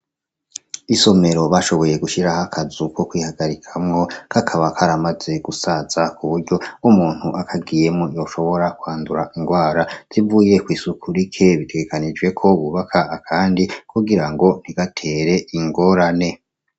isomero bashoboye gushiraho akazu ko kwihagarikamwo kakaba karamaze gusaza kuburyo nkumuntu akagiyemwo yoshobora kuhandura ingwara zivuye kwisuku rike bitegekanijweko bubaka akandi kugirango ntigatere ingorane